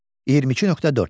22.4.